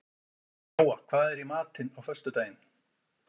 Jóa, hvað er í matinn á föstudaginn?